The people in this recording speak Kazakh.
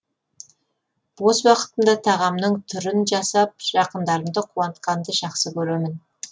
бос уақытымда тағамның түрін жасап жақындарымды қуантқанды жақсы көремін